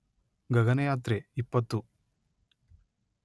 ಗಗನಯಾತ್ರೆ ಇಪ್ಪತ್ತು